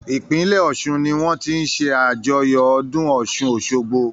Ìpínlẹ̀ Ọ̀ṣun ní wọ́n ti ń ṣàjọyọ̀ ọdún Ọ̀ṣun Òṣogbo.